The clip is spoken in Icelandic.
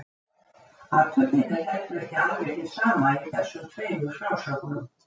Athöfnin er heldur ekki alveg hin sama í þessum tveimur frásögnum.